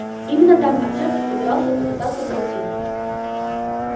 именно там артем и собирался попытаться пройти